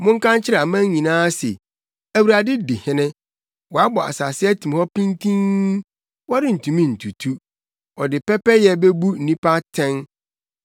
Monka nkyerɛ aman nyinaa se, “ Awurade di hene.” Wɔabɔ asase atim hɔ pintinn, wɔrentumi ntutu; ɔde pɛpɛyɛ bebu nnipa atɛn.